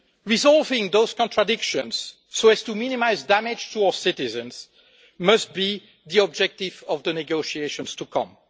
Resolving those contradictions, so as to minimise damage to our citizens must be the objective of the negotiations to come.